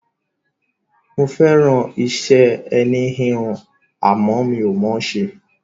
Mo fẹ́ràn iṣẹ́ ẹní-híhun, àmọ́ mi ò mọ̀ ọ́n ṣe.